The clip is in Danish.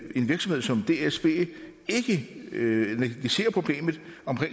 en virksomhed som dsb ikke negligerer problemet